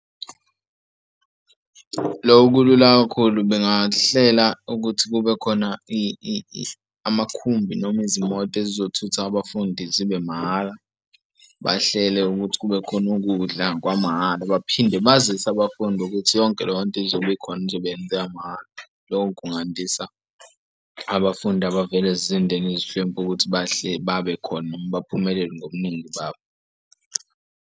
Loko kulula kakhulu bengahlela ukuthi kube khona amakhumbi noma izimoto ezizothutha abafundi zibe mahhala, bahlele ukuthi kube khona ukudla kwamahhala. Baphinde bazise abafundi ukuthi yonke leyo nto izobe ikhona izobe yenzeka mahhala. Lokho kungandisa abafundi abavela ezindeni ezihlwempu ukuthi bahle babekhona noma baphumelele ngobuningi babo.